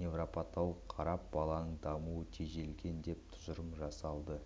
невропатолог қарап баланың дамуы тежелген деп тұжырым жасалды